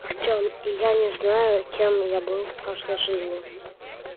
артём и я не знаю кем я был в прошлой жизни